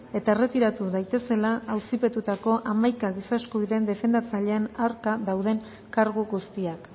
eta erretiratu daitezela auzipetutako hamaika giza eskubideen defendatzaileen aurka dauden kargu guztiak